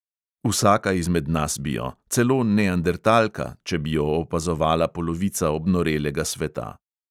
Vsaka izmed nas bi jo, celo neandertalka, če bi jo opazovala polovica obnorelega sveta.